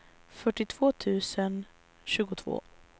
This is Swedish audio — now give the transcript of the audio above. fyrtiotvå tusen tjugotvå